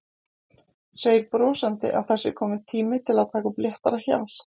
Segir brosandi að það sé kominn tími til að taka upp léttara hjal.